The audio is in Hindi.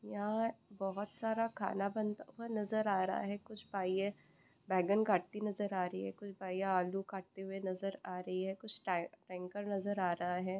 यहां बहुत सारा खाना बनता हुआ नज़र आ रहा है कुछ बाइयाँ बैंगन काटती नज़र आ रही है कुछ बाइयाँ आलू काटते हुए नज़र आ रही है कुछ टे- टैंकर का नजर आ रहा है।